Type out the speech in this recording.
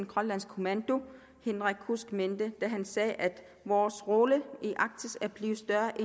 grønlands kommando henrik b kudsk mente da han sagde at vores rolle i arktis er blevet større